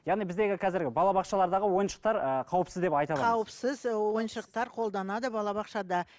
яғни біздегі қазір балабақшалардағы ойыншықтар ыыы қауіпсіз деп айта аламыз қауіпсіз ойыншықтар қолданады балабақшада